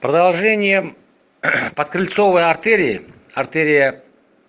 продолжение подкрыльцовый артерии артерия